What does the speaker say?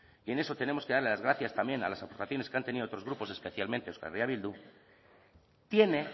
y en eso tenemos que darle las gracias también a las aportaciones que han tenido otros grupos especialmente euskal herria bildu tiene